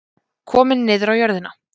Kominn niður á jörðina.